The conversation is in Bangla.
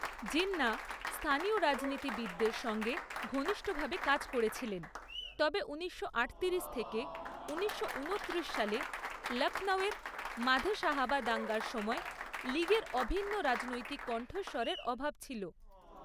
জিন্নাহ স্থানীয় রাজনীতিবিদদের সঙ্গে ঘনিষ্ঠভাবে কাজ করেছিলেন, তবে উনিশশো আটতিরিশ থেকে উনিশশো উনত্রিশ সালে লক্ষ্ণৌয়ের মাধে সাহাবা দাঙ্গার সময় লীগের অভিন্ন রাজনৈতিক কণ্ঠস্বরের অভাব ছিল।